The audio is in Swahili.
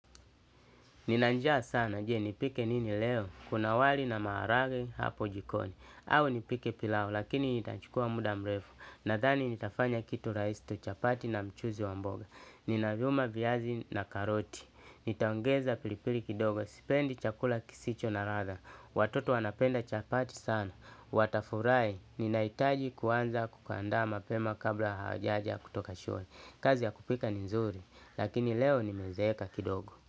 Nina njaa sana je nipike nini leo, kuna wali na maharage hapo jikoni, au nipike pilau lakini itachukua muda mrefu, nadhani nitafanya kitu rahisi tu chapati na mchuzi wa mboga, nina vyuma viazi na karoti, nitaongeza pilipili kidogo, sipendi chakula kisicho na radha, watoto wanapenda chapati sana, watafurai, ninahitaji kuanza kukanda mapema kabla hawajaja kutoka shule, kazi ya kupika ni nzuri, lakini leo nimezeeka kidogo.